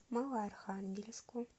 малоархангельску